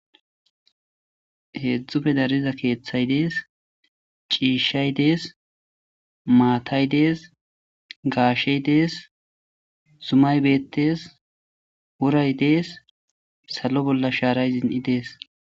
Hezdzduppe dariyo keethayi de'esi, ciishay Desi, maatay de'esi, gaasheyi Des, zumayi betesi, woray Desi , salo bollan sharay zon'i Desi.